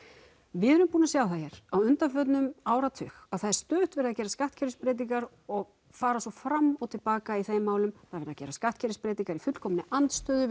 við erum búin að sjá það hér á undanförnum áratug að það er stöðugt verið að gera skattkerfisbreytingar og fara svo fram og til baka í þeim málum það er verið að gera skattkerfisbreytingar í fullkominni andstöðu